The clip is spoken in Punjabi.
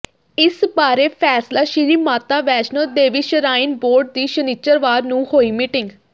ਇਸ ਬਾਰੇ ਫ਼ੈਸਲਾ ਸ਼੍ਰੀ ਮਾਤਾ ਵੈਸ਼ਨੋ ਦੇਵੀ ਸ਼ਰਾਈਨ ਬੋਰਡ ਦੀ ਸ਼ਨਿਚਰਵਾਰ ਨੂੰ ਹੋਈ ਮੀਟਿੰਗ